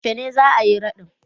Yaushe ne za a yi raɗin?